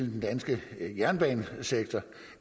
den danske jernbanesektor